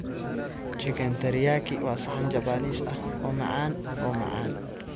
Chicken Teriyaki waa saxan Japanese ah oo macaan oo macaan.